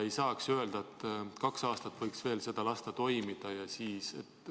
Milleks lasta kaks aastat seda veel toimida ja siis ...